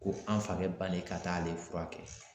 Ko an fakɛ bannen ka taa ale furakɛ